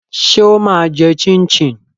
Ṣé ó máa jẹ chin chin?